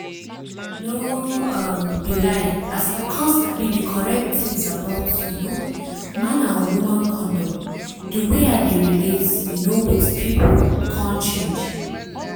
no um be lie as i come sabi di correct tins about um man and woman condom di way i dey relate um with pipu come change